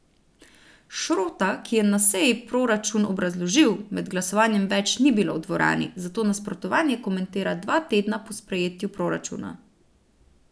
Šrota, ki je na seji proračun obrazložil, med glasovanjem več ni bilo v dvorani, zato nasprotovanje komentira dva tedna po sprejetju proračuna.